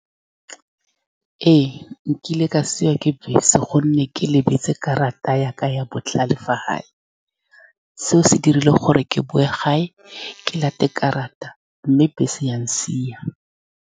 Ee, nkile ka siiwa ke bese ka gonne ke lebetse karata ya ka ya botlhale fa gae. Seo se dirile gore ke boe gae, ke late karata, mme bese ya nsia.